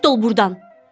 Rədd ol burdan.